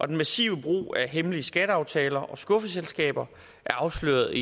den massive brug af hemmelige skatteaftaler og skuffeselskaber afsløret